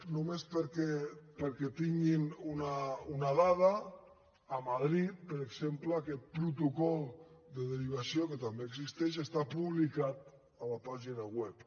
només perquè tinguin una dada a madrid per exemple aquest protocol de derivació que també existeix està publicat a la pàgina web